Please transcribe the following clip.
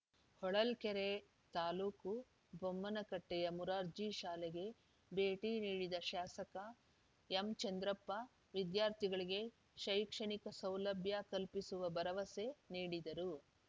ಹೊಳಲ್ಕೆರೆ ತಾಲೂಕು ಬೊಮ್ಮನಕಟ್ಟೆಯ ಮೊರಾರ್ಜಿ ಶಾಲೆಗೆ ಭೇಟಿ ನೀಡಿದ ಶಾಸಕ ಎಂಚಂದ್ರಪ್ಪ ವಿದ್ಯಾರ್ಥಿಗಳಿಗೆ ಶೈಕ್ಷಣಿಕ ಸೌಲಭ್ಯ ಕಲ್ಪಿಸುವ ಭರವಸೆ ನೀಡಿದರು